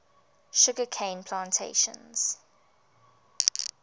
sugar cane plantations